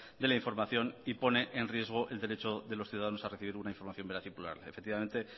de la información y pone en riesgo el derecho de los ciudadanos a recibir una información veraz y plural efectivamente